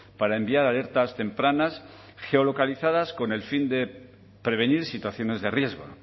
para enviar alertas tempranas geolocalizadas con el fin de prevenir situaciones de riesgo